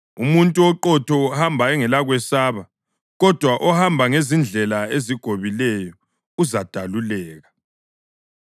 Umuntu oqotho uhamba engelakwesaba, kodwa ohamba ngezindlela ezigobileyo uzadaluleka.